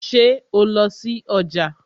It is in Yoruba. Ṣé o lọ sí ọjà?